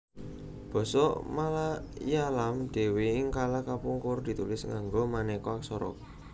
Basa Malayalam dhéwé ing kala kapungkur ditulis nganggo manéka aksara